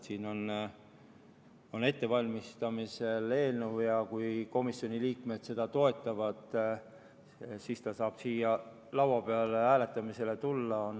Eelnõu on ettevalmistamisel ja kui komisjoni liikmed seda toetavad, siis saame seda hääletada.